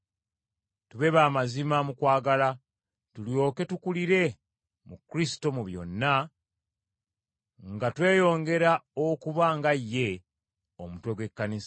Tube ba mazima mu kwagala, tulyoke tukulire mu Kristo mu byonna, nga tweyongera okuba nga ye, Omutwe gw’Ekkanisa.